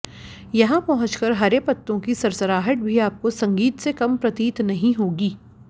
यहां पहुंचकर हरे पत्तों की सरसराहट भी आपको संगीत से कम प्रतीत नहीं होगी